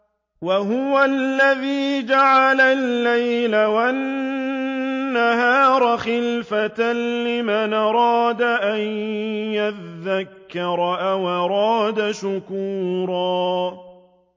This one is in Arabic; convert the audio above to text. وَهُوَ الَّذِي جَعَلَ اللَّيْلَ وَالنَّهَارَ خِلْفَةً لِّمَنْ أَرَادَ أَن يَذَّكَّرَ أَوْ أَرَادَ شُكُورًا